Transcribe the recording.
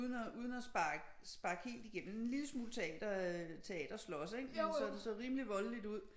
Uden at uden at sparke helt igennem en lille smule teater øh teater slås men så det så rimelig voldeligt ud